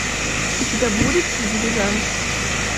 у тебя будет дилижанс